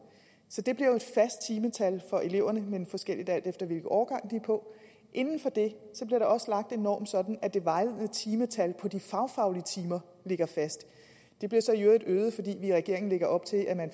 så det bliver jo et fast timetal for eleverne men forskelligt alt efter hvilken årgang de er på inden for det bliver der også lagt en norm sådan at det vejledende timetal for de fagfaglige timer ligger fast det bliver så i øvrigt øget fordi vi i regeringen lægger op til at man